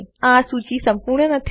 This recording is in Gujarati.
આ સૂચી સંપુર્ણ નથી